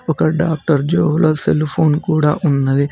ఒక డాక్టర్ జోబులో సెల్ఫోన్ కూడా ఉన్నది.